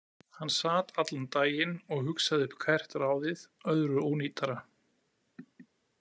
Hann sat allan daginn og hugsaði upp hvert ráðið öðru ónýtara.